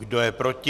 Kdo je proti?